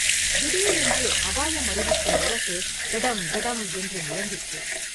திடீரென்று அபாயம் அறிவிக்கும் முரசு ‘டடம்!’ ‘டடம்!’ என்று முழங்கிற்று.